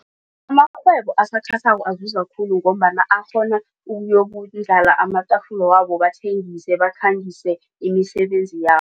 Amarhwebo asakhasako azuza khulu ngombana akghona ukuyokundlala amatafula wabo bathengise bakhangise imisebenzi yabo.